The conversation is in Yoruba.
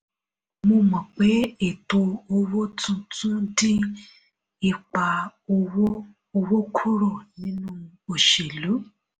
mo mọ̀ pé ètò owó tuntun dín ipa owó owó kúrò nínú òṣèlú.